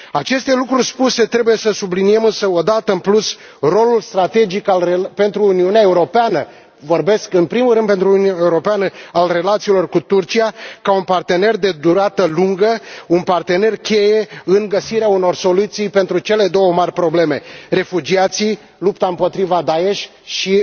Aceste lucruri spuse, trebuie să subliniem însă, o dată în plus, rolul strategic pentru Uniunea Europeană vorbesc în primul rând pentru Uniunea Europeană al relațiilor cu Turcia, ca un partener de durată lungă, un partener cheie în găsirea unor soluții pentru cele două mari probleme refugiații, lupta împotriva Daesh și